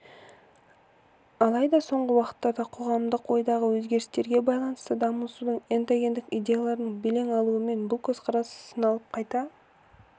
алайда соңғы уақыттарда қоғамдық ойдағы өзгерістерге байланысты дамудың эндогендік идеяларының белең алуымен бұл көзқарас сыналып қайта